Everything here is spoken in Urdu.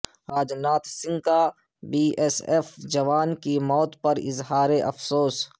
راج ناتھ سنگھ کابی ایس ایف جوان کی موت پر اظہار افسوس